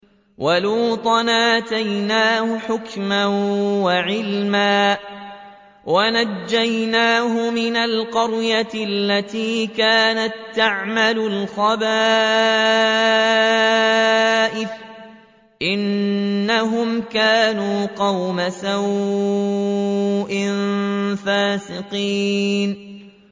وَلُوطًا آتَيْنَاهُ حُكْمًا وَعِلْمًا وَنَجَّيْنَاهُ مِنَ الْقَرْيَةِ الَّتِي كَانَت تَّعْمَلُ الْخَبَائِثَ ۗ إِنَّهُمْ كَانُوا قَوْمَ سَوْءٍ فَاسِقِينَ